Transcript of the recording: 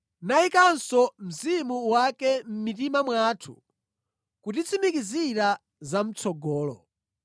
nayikanso Mzimu wake mʼmitima mwathu kutitsimikizira za mʼtsogolo.